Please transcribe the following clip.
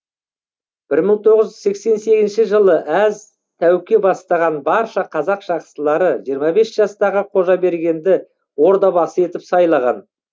бір мың тоғыз жүз сексен сегізінші жылы әз тәуке бастаған барша қазақ жақсылары жиырма бес жастағы қожабергенді ордабасы етіп сайлаған